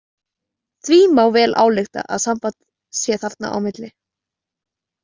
Því má vel álykta að samband sé þarna á milli.